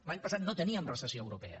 l’any passat no teníem recessió a europa ja